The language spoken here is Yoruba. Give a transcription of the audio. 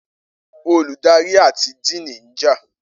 Oludari ati Diini njà